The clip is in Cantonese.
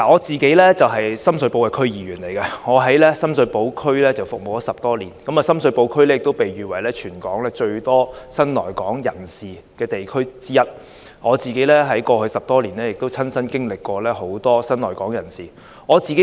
主席，我是深水埗區議員，已服務深水埗區10多年，而深水埗區亦被譽為全港最多新來港人士的地區之一，我在過去10多年也曾親身服務很多新來港人士。